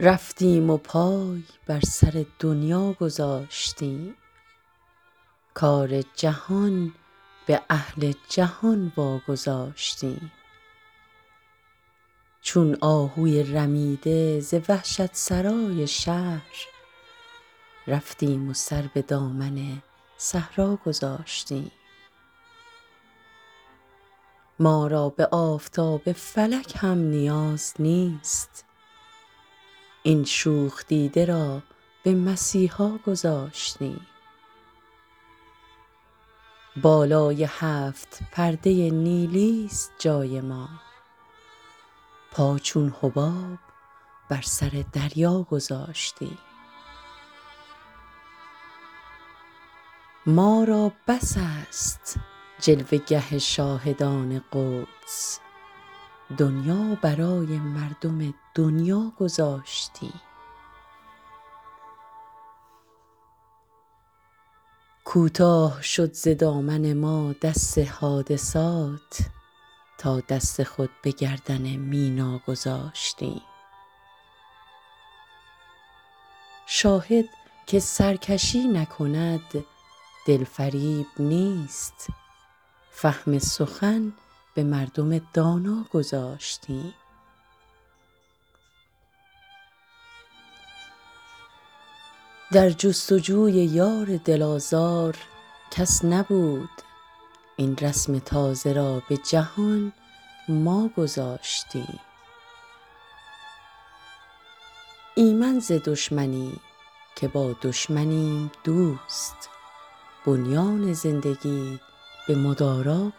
رفتیم و پای بر سر دنیا گذاشتیم کار جهان به اهل جهان واگذاشتیم چون آهوی رمیده ز وحشت سرای شهر رفتیم و سر به دامن صحرا گذاشتیم ما را به آفتاب فلک هم نیاز نیست این شوخ دیده را به مسیحا گذاشتیم بالای هفت پرده نیلی است جای ما پا چون حباب بر سر دریا گذاشتیم ما را بس است جلوه گه شاهدان قدس دنیا برای مردم دنیا گذاشتیم کوتاه شد ز دامن ما دست حادثات تا دست خود به گردن مینا گذاشتیم شاهد که سرکشی نکند دل فریب نیست فهم سخن به مردم دانا گذاشتیم در جستجوی یار دل آزار کس نبود این رسم تازه را به جهان ما گذاشتیم ایمن ز دشمنیم که با دشمنیم دوست بنیان زندگی به مدارا